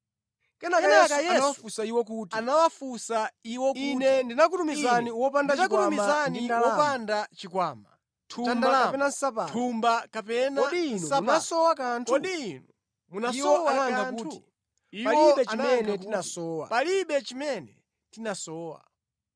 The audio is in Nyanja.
Kenaka Yesu anawafunsa iwo kuti, “Ine nditakutumizani wopanda chikwama cha ndalama, thumba kapena nsapato, kodi inu munasowa kanthu?” Iwo anayankha kuti, “Palibe chimene tinasowa.”